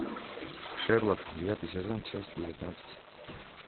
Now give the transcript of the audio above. шерлок девятый сезон часть девятнадцать